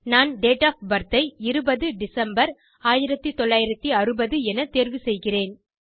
நான் date of birth ஐ 20 December 1960 என தேர்வு செய்கிறேன்